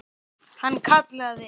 Hann kallaði